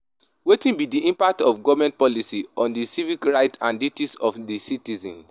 Wetin be di impact of government policies on di civic rights and duties of di citizens?